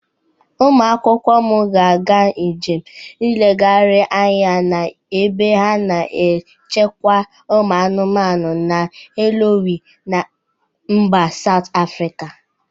Ụmụ akwụkwọ m ga-aga njem nlegharị anya na ebe a na-echekwa ụmụ anụmanụ na Hluhuwe na mba Saut Afrịka.